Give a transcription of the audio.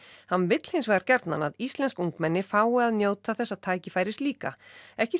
hann vill hins vegar gjarnan að íslensk ungmenni fái að njóta þessa tækifæris líka ekki